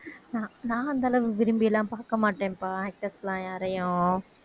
நான் நான் அந்த அளவு விரும்பிலாம் பாக்க மாட்டேன்ப்பா actors லாம் யாரையும்